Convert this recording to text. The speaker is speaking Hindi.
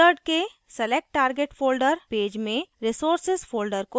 wizard के select target folder पैज में resources folder को चुनें